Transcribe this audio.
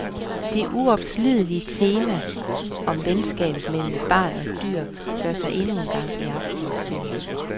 Det uopslidelige tema om venskabet imellem et barn og et dyr gør sig endnu en gang i aftenens film.